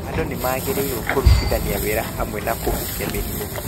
Andũ magĩrĩirũo kũrutithania wĩra hamwe na kũhukia mĩrimũ.